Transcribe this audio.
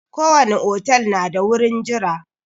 Ko wani otal na da gurin jira.